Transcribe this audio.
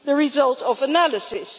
the result of analysis.